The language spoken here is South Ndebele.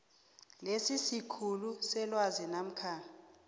lesikhulu selwazi namkha